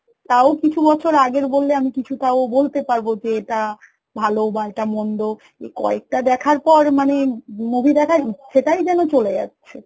কিছু বছর আগের বললে আমি কিছু তাও বলতে পারব যে এটা ভালো বা এটা মন্দ এই কয়েকটা দেখার পর মানে movie দেখার ইচ্ছেটাই যেন চলে যাচ্ছে